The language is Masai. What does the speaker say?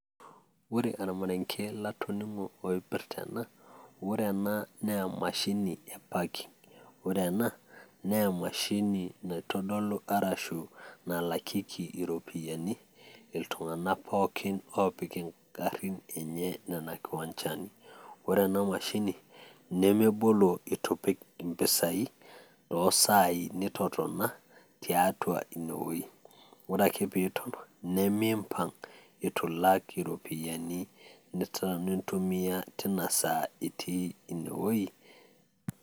ore ormarenke latoning'o oipirta ena, ore ena naa emashini e parking ore ena naa emashini naitodolu arashu nalakieki iropiyiani, iltungank pookin oopik ingarin enye nean kiwanchani. ore ena mashini nemebolo eitu ipik impisai too sai nitotona tiatua ine wueji. ore eka pee iton nemimpapng' eitu ilak iropiyiani nitotona tiatua ine wueiji